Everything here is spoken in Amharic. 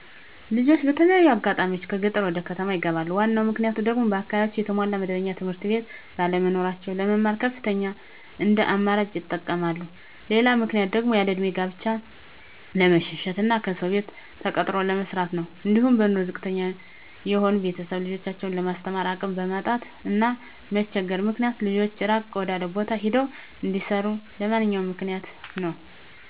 ልጆች በተለያየ አጋጣሚዎች ከገጠር ወደከተማ ይገባሉ ዋናው ምክንያቱም ደግሞ በአካባቢያቸው የተሟላ መደበኛ ትምህርትቤት ባለመኖራቸው ለመማር ከተማን እንደአማራጭ ይጠቀመማሉ። ሌላው ምክንያት ደግሞ ያለእድሜ ጋብቻን በመሸሸት እና ከሰው ቤት ተቀጥሮ ለመስራት ነው። አንዲሁም በኑሮ ዝቅተተኛ የሆኑ ቤተሰብ ልጆችን ለማስተማር አቅም ማጣት እና መቸገር ምክንያት ልጆች እራቅ ወዳለው ቦታ ሄደው እንዲሰሩ ሌላውኛው ምክንያት ነው።